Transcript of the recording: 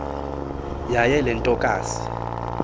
yaye le ntokazi